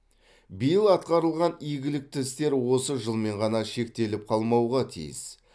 биыл атқарылған игілікті істер осы жылмен ғана шектеліп қалмауға тиіс